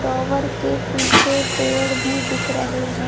Tower के पीछे पेड़ भी दिख रहे है।